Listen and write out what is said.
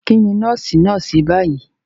Kí ni nọ́ọ́sì náà ṣe báyìí?